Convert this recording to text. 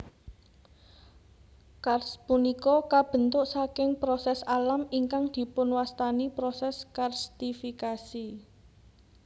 Karst punika kabentuk saking proses alam ingkang dipunwastani proses karstifikasi